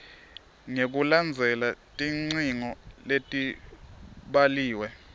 ngekulandzela tidzingo letibhaliwe